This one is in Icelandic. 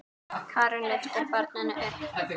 Karen lyftir barninu upp.